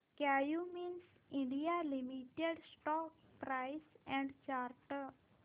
Cummins India limited stock price and chart